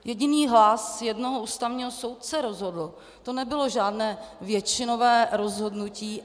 Jediný hlas jednoho ústavního soudce rozhodl, to nebylo žádné většinové rozhodnutí.